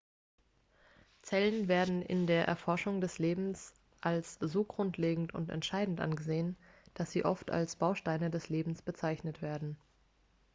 zellen werden in der erforschung des lebens als so grundlegend und entscheidend angesehen dass sie oft als bausteine des lebens bezeichnet werden